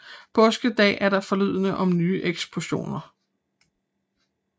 Påskedag er der forlydender om nye eksplosioner